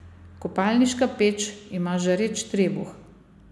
Kopalniška peč ima žareč trebuh.